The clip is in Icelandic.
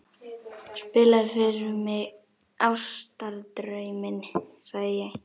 Spilaðu fyrr mig Ástardrauminn, sagði ég.